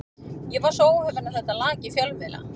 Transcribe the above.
Ég var svo óheppinn að þetta lak í fjölmiðla.